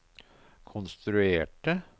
konstruerte